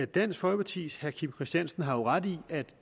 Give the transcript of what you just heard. dansk folkepartis herre kim christiansen har jo ret i at